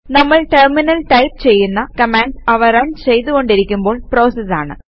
നമ്മൾ ടെർമിനലിൽ ടൈപ് ചെയ്യുന്ന കമാൻഡ്സ് അവ റൺ ചെയ്തു കൊണ്ടിരിക്കുമ്പോൾ പ്രോസസസ് ആണ്